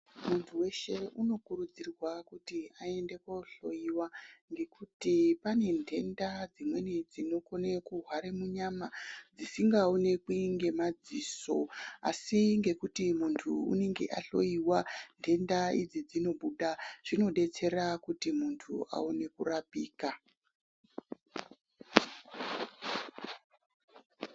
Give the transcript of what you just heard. Muntu weshe unokurudzirwa kuti aende kohloiwa ngekuti pane ndenda dzimweni dzinokone kuhware munyama dzisingaonekwi ngemadziso asi ngekuti muntu unenge ahloiwa ndenda idzi dzinobuda. Zvinodetsera kuti muntu aone kurapika.